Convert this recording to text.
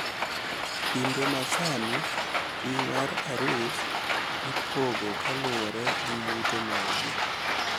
Kinde masani ting` mar arus ipogo kaluwore gi yuto margi.